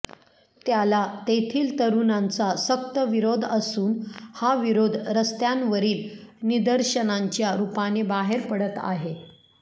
त्याला तेथील तरुणांचा सक्त विरोध असून हा विरोध रस्त्यांवरील निदर्शनांच्या रूपाने बाहेर पडत आहे